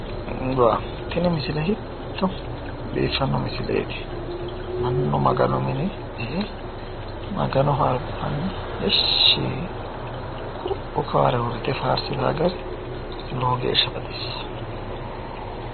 Wa tini misile hiitto biiffanno misileeti mannu maganu mine e"e maganoho albaanni heeshshi yee ku'u kowaare uurrite faarsita gari lowo geeshsha baxissa.